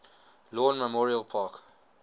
lawn memorial park